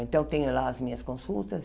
Então, tenho lá as minhas consultas.